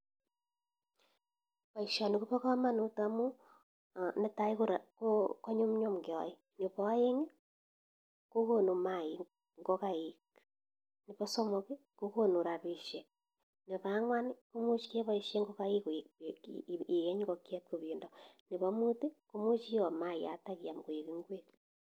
Paishonii kobaa kamanut amuu nee taii konyumnyum keae nepo aeng kokonuu maaik ingokaik nepo somok kokonuu rapishek nepo angwan komuch kee paishe ieny ingokaik koek penda nepo muut komuch iyoo maayat koek ingwek